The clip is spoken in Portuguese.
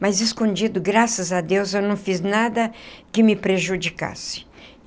Mas, escondido, graças a Deus, eu não fiz nada que me prejudicasse.